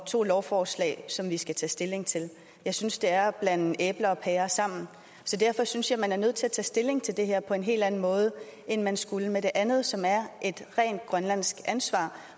to lovforslag som vi her skal tage stilling til jeg synes det er at blande æbler og pærer sammen så derfor synes jeg at man er nødt til at tage stilling til det her på en helt anden måde end man skulle med det andet som er et rent grønlandsk ansvar